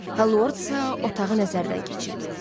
Hal Lordsa otağını nəzərdən keçirdi.